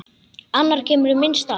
Annar kemur í minn stað.